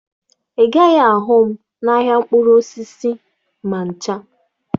Ị gaghị ahụ m n'ahịa mkpụrụ osisi ma ncha